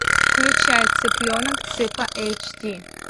включай цыпленок цыпа эйч ди